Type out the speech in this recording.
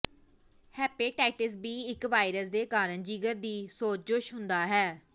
hepatitis B ਇਕ virus ਦੇ ਕਾਰਨ ਜਿਗਰ ਦੀ ਸੋਜਸ਼ ਹੁੰਦਾ ਹੈ